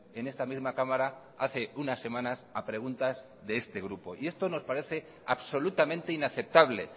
en esta misma cámara hace unas semanas a preguntas de este grupo esto nos parece absolutamente inaceptable